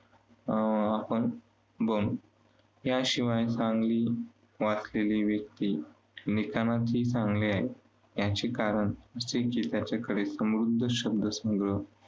अं आपण बनू. याशिवाय चांगली वाचलेली व्यक्ती लिखाणातही चांगले आहे, याचे कारण त्याच्याकडे समृद्ध शब्दसंग्रह